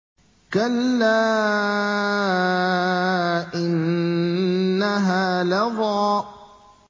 كَلَّا ۖ إِنَّهَا لَظَىٰ